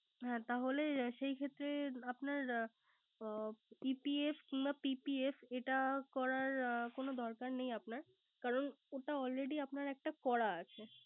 হ্যা তাহলে সেই ক্ষেত্রে আপনার PPF কিংবা EPF করার কোন দরকার নেই। কারন ওটা Already আপনার একটা করা আছে।